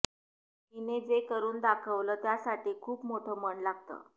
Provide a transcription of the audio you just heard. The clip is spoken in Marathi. हिने जे करून दाखवलं त्यासाठी खूप मोठं मन लागतं